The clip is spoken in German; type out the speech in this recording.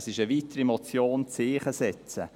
Es ist eine weitere Motion, um ein Zeichen setzen.